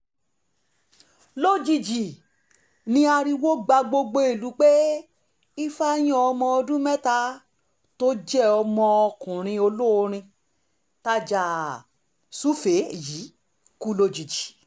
lójijì ní ariwo gba gbogbo ìlú pé ifeanyi ọmọ ọdún mẹ́ta tó jẹ́ ọmọ ọkùnrin olórin tajà-sùfèé yìí kú lójijì